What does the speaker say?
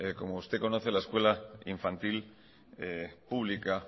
como usted conoce la escuela infantil pública